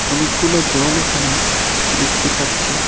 অনেকগুলো জল এখানে দেখতে পাচ্ছি।